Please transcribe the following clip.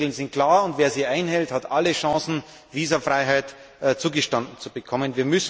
Die Spielregeln sind klar, und wer sie einhält, hat alle Chancen, Visafreiheit zugestanden zu bekommen.